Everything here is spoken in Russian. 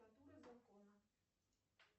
нр закона